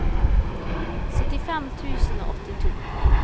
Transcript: syttifem tusen og åttito